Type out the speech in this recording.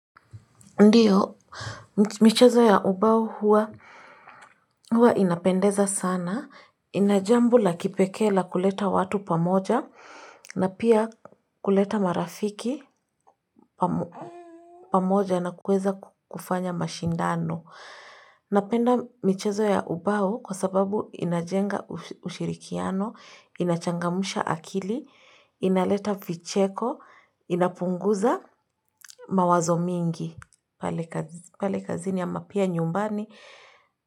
Ndiyo, michezo ya ubao huwa inapendeza sana. Ina jambo la kipekee la kuleta watu pamoja na pia kuleta marafiki pamoja na kuweza kufanya mashindano. Napenda michezo ya ubao kwa sababu inajenga ushirikiano, inachangamsha akili, inaleta vicheko, inapunguza mawazo mingi. Pale kazini ama pia nyumbani.